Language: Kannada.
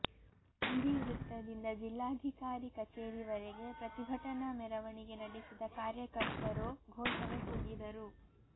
ಗಾಂಧಿ ವೃತ್ತದಿಂದ ಜಿಲ್ಲಾಧಿಕಾರಿ ಕಚೇರಿವರೆಗೆ ಪ್ರತಿಭಟನಾ ಮೆರವಣಿಗೆ ನಡೆಸಿದ ಕಾರ್ಯಕರ್ತರು ಘೋಷಣೆ ಕೂಗಿದರು